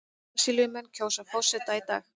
Brasilíumenn kjósa forseta í dag